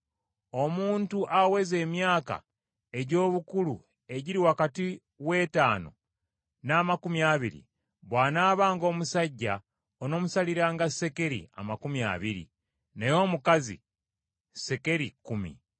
Omuntu aweza emyaka egy’obukulu egiri wakati w’ettaano n’amakumi abiri, bw’anaabanga omusajja onoomusaliranga sekeri amakumi abiri naye omukazi sekeri kkumi .